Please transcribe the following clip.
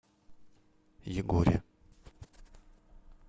егоре